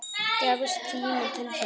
Gefst tími til þess?